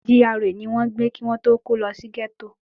GRA ni wọ́n ń gbé kí wọ́n tó kó lọ sí gẹ́tò